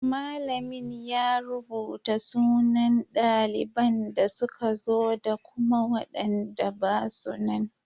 Malamin ya rubuta sunan daliban da suka zo da kuma waɗanda basu nan.